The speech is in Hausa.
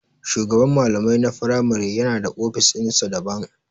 shugaban malamai na firamare yana da ofis ɗinsa daban.